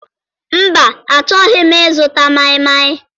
Mba, achọghị m ịzụta maịmaị.